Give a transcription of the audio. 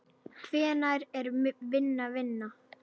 Hvenær er vinna vinna?